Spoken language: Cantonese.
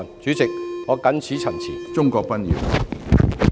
主席，我謹此陳辭。